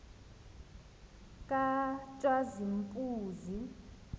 katshazimpuzi